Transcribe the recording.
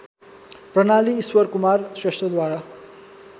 प्रणाली ईश्वरकुमार श्रेष्ठद्वारा